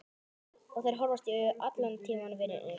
Og þeir horfast í augu allan tímann vinirnir.